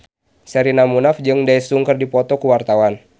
Sherina Munaf jeung Daesung keur dipoto ku wartawan